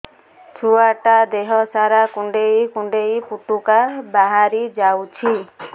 ଛୁଆ ଟା ଦେହ ସାରା କୁଣ୍ଡାଇ କୁଣ୍ଡାଇ ପୁଟୁକା ବାହାରି ଯାଉଛି